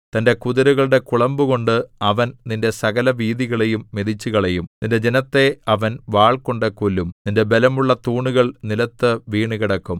തന്റെ കുതിരകളുടെ കുളമ്പുകൊണ്ട് അവൻ നിന്റെ സകലവീഥികളെയും മെതിച്ചുകളയും നിന്റെ ജനത്തെ അവൻ വാൾകൊണ്ടു കൊല്ലും നിന്റെ ബലമുള്ള തൂണുകൾ നിലത്തു വീണുകിടക്കും